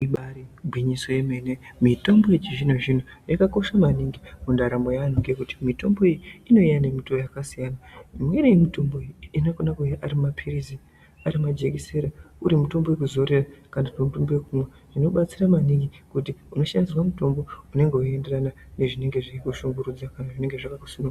Ibairi gwinyiso ye mene mitombo yechi zvino zvino yaka kosha maningi mundaramo ye anhu ngekuti mitombo iyi inouya ne mutowo yaka siyana imweni ye mutombo iyi inokona kuuya ari mapirizi ari majekiseni uri mutombo wekuzore kana kuti mutombo wekumwa zvi batsira maningi kuti ino shandisirwa mutombo unenge weyi enderana ne zvinenge zveyi kushungurudza kana zvinenge zvakaku sunga.